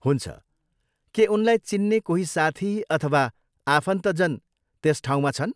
हुन्छ, के उनलाई चिन्ने कोही साथी अथवा आफन्तजन त्यस ठाउँमा छन्?